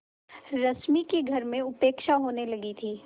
रश्मि की घर में उपेक्षा होने लगी थी